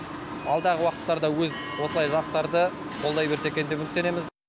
алдағы уақыттарда өз осылай жастарды қолдай берсек деп үміттенеміз